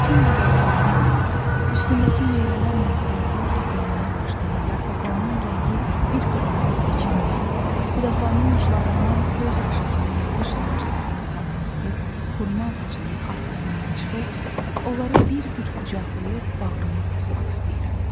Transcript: Bütün bunlara rəğmən, üstündəki meyvələrlə saralıb tökülməyə başlayan yarpaqlarının rəngi bir-birindən seçilməyən, budaqlarının uclarından göz yaşı kimi yağış damcılarının sallandığı xurma ağacının arxasından çıxıb onları bir-bir qucaqlayıb bağrıma basmaq istəyirəm.